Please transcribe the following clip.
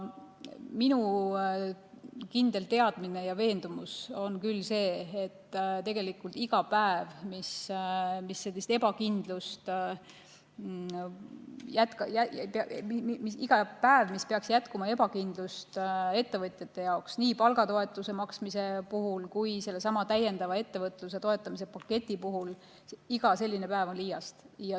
Minu kindel teadmine ja veendumus on see, et iga selline päev, mis peaks jätkama ettevõtjate ebakindlust, nii palgatoetuse maksmise kui ka sellesama täiendava ettevõtluse toetamise paketi puhul, on liiast.